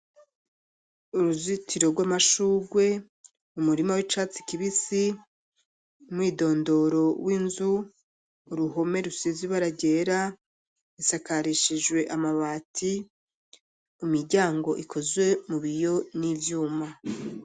Uruzitiro rw'amashurwe umurima w'icatsi kibisi mwidondoro w'inzu uruhome rusizi baragera isakarishijwe amabati imiryango ikozwe mu biyo n'ivyuma.